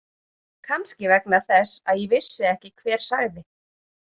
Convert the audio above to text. Kannski vegna þess að ég vissi ekki hver sagði.